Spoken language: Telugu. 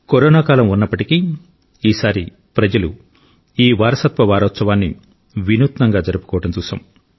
కరోనా కాలం ఉన్నప్పటికీ ఈసారి ప్రజలు ఈ వారసత్వ వారోత్సవాన్ని వినూత్నంగా జరుపుకోవడం చూశాం